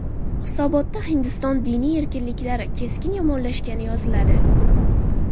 Hisobotda Hindiston diniy erkinliklari keskin yomonlashgani yoziladi.